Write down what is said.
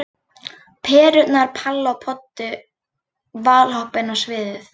Perurnar Palla og Poddi valhoppa inn á sviðið.